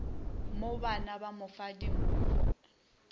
mobana ba mo fa dimfo